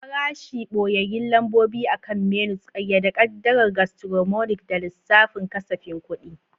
Farashi, ɓoyayyun lambobi akan menus, ƙayyade ƙaddarar gastronomic da lissafin kasafin kuɗi.